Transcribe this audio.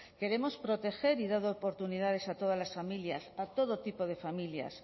queremos proteger y dar oportunidades a todas las familias a todo tipo de familias